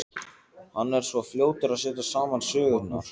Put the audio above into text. Hann er svo fljótur að setja saman sögurnar.